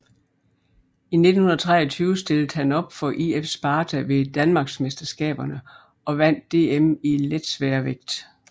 I 1923 stillede han op for IF Sparta ved danmarksmesterskaberne og vandt DM i letsværvægt